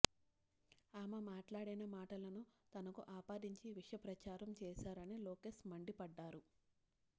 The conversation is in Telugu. ఆమె మాట్లాడిన మాటలను తనకు ఆపాదించి విష ప్రచారం చేశారని లోకేష్ మండిపడ్డారు